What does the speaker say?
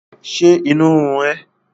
Ṣé inú ń run ẹ́?